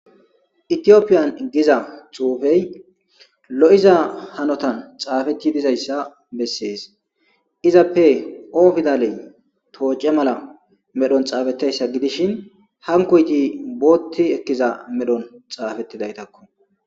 Ethiopian giza xuufey lo'iza hanotan xaafeti dizaysa besses. Izappe O pidaley toc'e medhon xaafetidaysa gidishin hankoyti booti ekida medhon xaafetidaytako